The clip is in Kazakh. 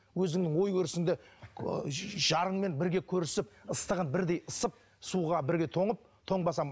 өзіңнің ой өрісіңді ыыы жарыңмен бірге көрісіп ыстығын бірдей ысып суға бірге тоңып тоңбасаң